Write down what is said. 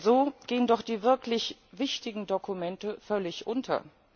Denn so gehen doch die wirklich wichtigen Dokumente völlig unter.